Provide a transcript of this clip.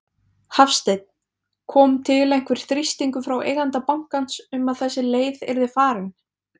Hafsteinn: Kom til einhver þrýstingur frá eiganda bankans um að þessi leið yrði farin?